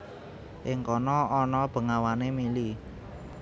Ing kono ana bengawané mili